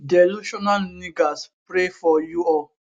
delusional niggas pray for you all